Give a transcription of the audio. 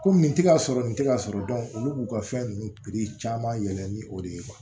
Komi nin tɛ ka sɔrɔ nin tɛ k'a sɔrɔ olu b'u ka fɛn ninnu piri caman yɛlɛ ni o de ye